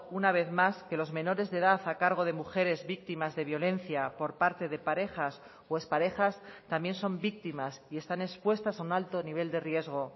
una vez más que los menores de edad a cargo de mujeres víctimas de violencia por parte de parejas o exparejas también son víctimas y están expuestas a un alto nivel de riesgo